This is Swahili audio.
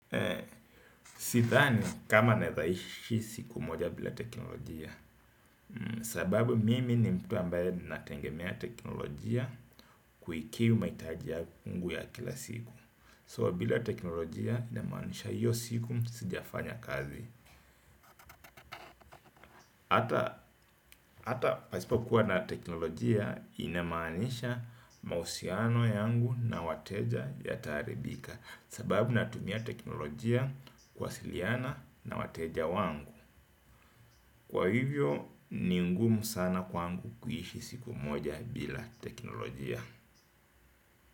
Sidhani kama naeza ishi siku moja bila teknolojia. Sababu mimi ni mtu ambaye nategemea teknolojia kuikimu mahitaji yangu ya kila siku So bila teknolojia inamaanisha hiyo siku sijafanya kazi. Hata pasipokuwa na teknolojia inamaanisha mahusiano yangu na wateja yataharibika. Sababu natumia teknolojia kuwasiliana na wateja wangu. Kwa hivyo, ni ngumu sana kwangu kuishi siku moja bila teknolojia.